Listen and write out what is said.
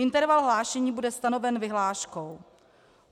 Interval hlášení bude stanoven vyhláškou.